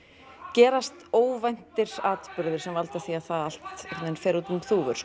gerast óvæntir atburðir sem valda því að það allt fer út um þúfur